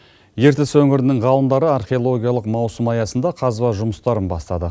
ертіс өңірінің ғалымдары археологиялық маусым аясында қазба жұмыстарын бастады